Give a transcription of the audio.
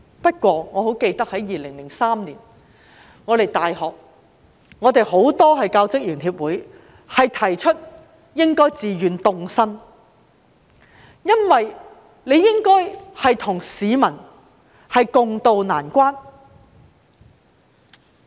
不過，我記得在2003年，很多大學教職員協會提出應自願凍薪，應該與市民共渡難關。